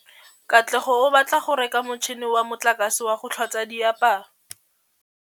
Katlego o batla go reka motšhine wa motlakase wa go tlhatswa diaparo.